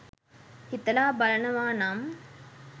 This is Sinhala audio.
හිතලා බලනවානම්